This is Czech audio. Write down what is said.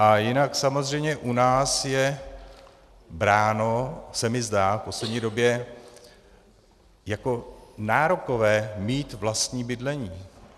A jinak samozřejmě u nás je bráno, zdá se mi v poslední době, jako nárokové mít vlastní bydlení.